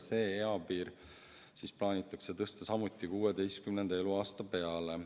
See eapiir plaanitakse tõsta samuti 16. eluaasta peale.